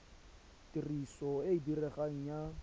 tiriso e e diregang ya